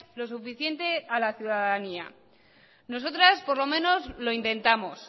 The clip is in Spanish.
lo suficiente a la ciudadanía nosotras por lo menos lo intentamos